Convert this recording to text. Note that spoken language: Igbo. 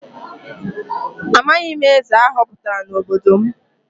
Amaghị m eze a họpụtara n’obodo m.